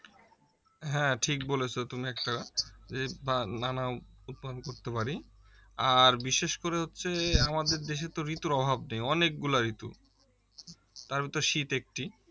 হ্যাঁ ঠিক বলেছো তুমি একটা করতে পারি আর বিশেষ করে হচ্ছে আমাদের দেশে তো ঋতুর অভাব নেই অনেকগুলা ঋতু তার ভিতরে শীত একটি